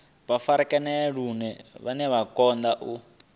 farakanea lune vha kundwa u